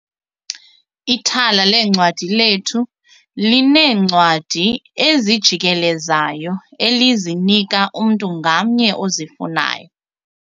Ithala leencwadi lethu lineencwadi ezijikelezayo elizinika umntu ngamnye ozifunayo.